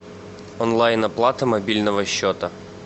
онлайн оплата мобильного счета